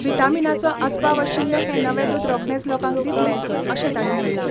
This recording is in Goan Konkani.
व्हिटामिनाचो आसपाव आशिल्ले हें नवे दूद रोखडेंच लोकांक दितले अशें तांणी म्हणलां.